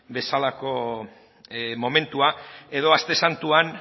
bezalako momentua edo aste santuan